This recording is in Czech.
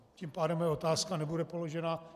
Tím pádem moje otázka nebude položena.